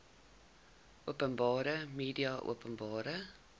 openbare media openbare